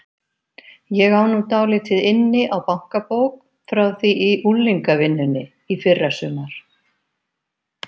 Ég á nú dálítið inni á bankabók frá því í unglingavinnunni í fyrrasumar.